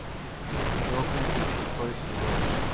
чокнутые шестой сезон